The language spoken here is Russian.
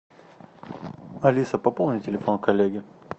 алиса пополни телефон коллеги